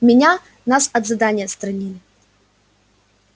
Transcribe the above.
меня нас от задания отстранили